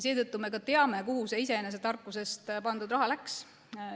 Seetõttu me ka teame, kuhu see iseenese tarkusest pandud raha läks.